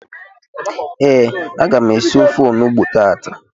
Ee, aga m esi ofe onugbu tata